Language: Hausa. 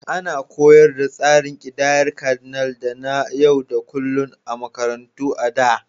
Ana koyar da tsarin ƙidayar Cardinal da na yau da kullun a makarantu a da.